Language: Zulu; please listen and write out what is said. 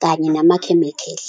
kanye namakhemikhali.